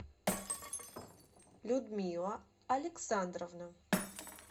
людмила александровна